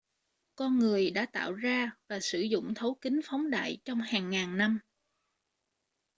con người đã tạo ra và sử dụng thấu kính phóng đại trong hàng ngàn năm